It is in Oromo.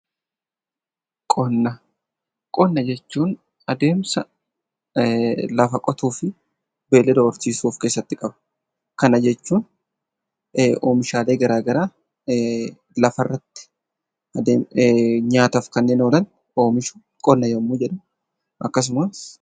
Qonna Qonna jechuun adeemsa lafa qotuu fi beeyilada horsiisuu of keessatti qaba. Kana jechuun oomishaalee garaagaraa lafa irratti nyaataaf kanneen oolan oomishuun qonna yemmuu jennu, akkasumas